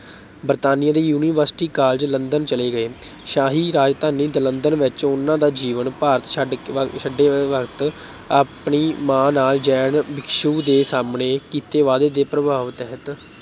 ਬਰਤਾਨੀਆ ਦੇ University College London ਚਲੇ ਗਏ। ਸ਼ਾਹੀ ਰਾਜਧਾਨੀ ਲੰਡਨ ਵਿੱਚ ਉਨ੍ਹਾਂ ਦਾ ਜੀਵਨ, ਭਾਰਤ ਛੱਡ ਅਹ ਛੱਡਦੇ ਵਕਤ ਆਪਣੀ ਮਾਂ ਨਾਲ ਜੈਨ ਭਿਕਸ਼ੂ ਦੇ ਸਾਹਮਣੇ ਕੀਤੇ ਵਾਅਦੇ ਦੇ ਪ੍ਰਭਾਵ ਤਹਿਤ